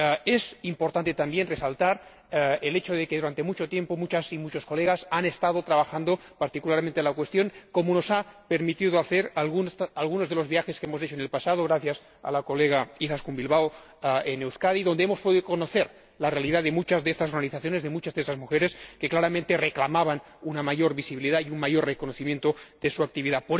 Es importante también resaltar el hecho de que, durante mucho tiempo, muchas y muchos colegas han estado trabajando particularmente en la cuestión, como hemos podido constatar en algunos de los viajes que hemos realizado en el pasado ―gracias a la colega Izaskun Bilbao― a Euskadi, donde nos ha sido posible conocer la realidad de muchas de estas organizaciones, de muchas de esas mujeres que claramente reclamaban una mayor visibilidad y un mayor reconocimiento de su actividad.